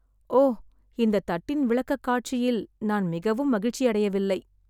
ஓ, இந்த தட்டின் விளக்கக்காட்சியில் நான் மிகவும் மகிழ்ச்சியடையவில்லை.